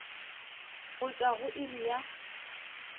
go tšwa go iri ya